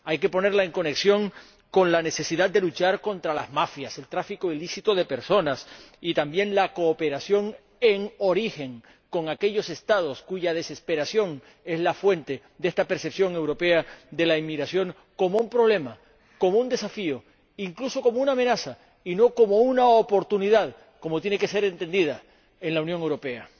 Hay que ponerla en conexión con la necesidad de luchar contra las mafias, el tráfico ilícito de personas, y también con la cooperación en origen con aquellos Estados cuya desesperación es la fuente de esta percepción europea de la inmigración como un problema, como un desafío, incluso como una amenaza, y no como una oportunidad, como tiene que ser entendida en la Unión Europea.